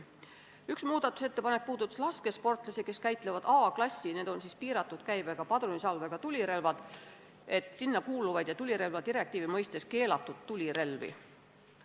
Üks muudatusettepanek puudutas laskesportlasi, kes käitlevad A-klassi ehk piiratud käibega padrunisalvega tulirelvi, mis on tulirelvadirektiivi mõistes keelatud tulirelvad.